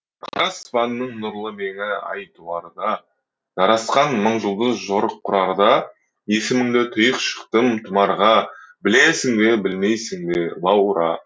қара аспанның нұрлы меңі ай туарда жарасқан мың жұлдыз жорық құрарда есіміңді түйіп шықтым тұмарға білесің бе білмейсің бе лаура